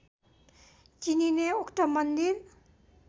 चिनिने उक्त मन्दिर